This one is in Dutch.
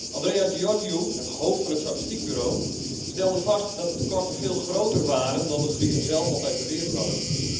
Andreas Georgiou, het hoofd van het statistiekbureau, stelde vast dat de tekorten veel groter waren dan de Grieken zelf altijd beweerd hadden.